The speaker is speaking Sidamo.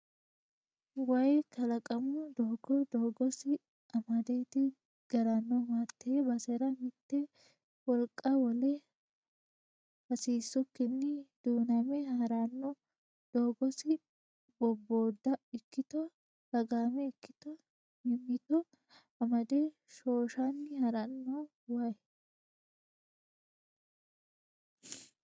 Wayi kalaqamuni doogo doogosi amadeti garanohu hate basera mite wolqa wole hasiisukkini du'name harano doogosi bobboda ikkitto lagame ikkitto mimmitto amade shoshani harano waayi.